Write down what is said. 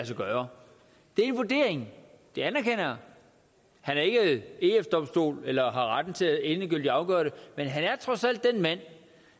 sig gøre det er vurderingen det anerkender jeg han er ikke eu domstolen eller har retten til endegyldigt at afgøre det men han er trods alt den mand